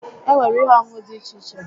Enwere ihe onunu di iche iche